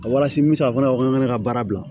A walasa n bɛ se ka fɔ fana ko ne ka baara bila